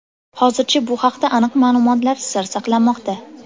Hozircha bu haqda aniq ma’lumotlar sir saqlanmoqda.